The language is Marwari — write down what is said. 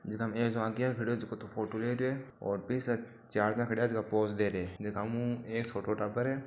जकाम एक आगे खडियो है जको तो फोटो ले रियो है और पीछे चार जन खड़िया है जो पोज़ दे रिया है जकामु एक छोटो टाबर है।